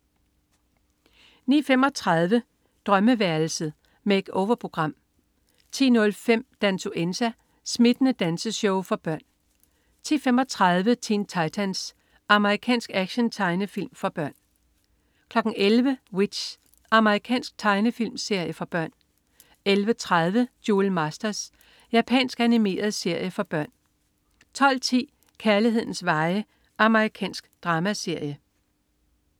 09.35 Drømmeværelset. Make-over-program 10.05 Dansuenza. Smittende danseshow for børn 10.35 Teen Titans. Amerikansk actiontegnefilm for børn 11.00 W.i.t.c.h. Amerikansk tegnefilmserie for børn 11.30 Duel Masters. Japansk animeret serie for børn 12.10 Kærlighedens veje. Amerikansk dramaserie